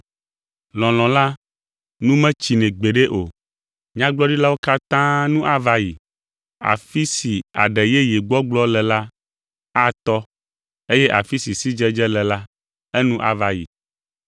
Lɔlɔ̃ la nu metsina gbeɖe o. Nyagblɔɖiwo katã nu ava yi, afi si aɖe yeye gbɔgblɔ le la atɔ eye afi si sidzedze le la, enu ava yi,